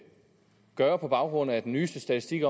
gøre på baggrund af den nyeste statistik